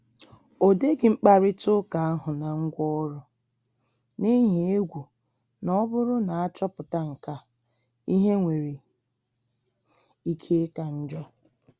Ọdeghi mkparịta uka ahụ na ngwaọrụ, n’ihi egwu na ọ bụrụ na achoputa nkea, ihe nwere ike ịka njọ